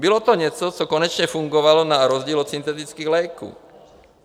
Bylo to něco, co konečně fungovalo na rozdíl od syntetických léků.